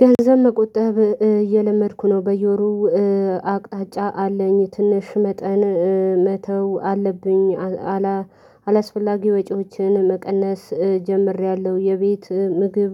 ገንዘብ መቆጠብ እየለመድኩ ነው በየወሩ አቅጣጫ አለኝ ትንሽ መጠን መተው አለብኝ። አላስፈላጊ ወጪዎችን መቀነስ ጀምሬያለሁ የቤት ምግብ